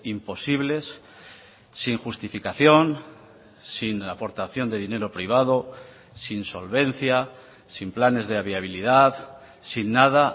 imposibles sin justificación sin aportación de dinero privado sin solvencia sin planes de viabilidad sin nada